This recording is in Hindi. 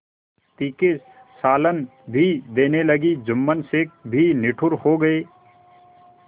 तीखे सालन भी देने लगी जुम्मन शेख भी निठुर हो गये